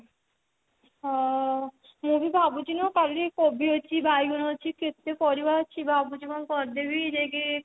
ହଉ ମୁଁ ଭାବୁଛି ନୁହ କାଲି କୋବି ଅଛି ବାଇଗଣ ଅଛି କେତେ ପରିବା ଅଛି ଭାବୁଛି କଣ କରିଦେବି ଯାଇକି